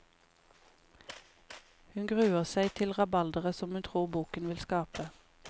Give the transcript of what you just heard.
Hun gruer seg til rabalderet som hun tror boken vil skape.